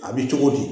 A bɛ cogo di